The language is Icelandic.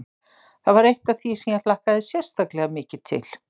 Það var eitt af því sem ég hlakkaði sérstaklega mikið til.